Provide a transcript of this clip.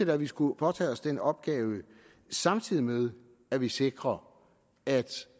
da vi skulle påtage os den opgave samtidig med at vi sikrer at